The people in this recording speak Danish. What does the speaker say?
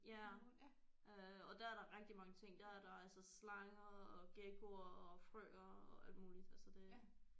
Ja øh og der er der rigtig mange ting der er der altså slanger og gekkoer og frøer og alt muligt altså det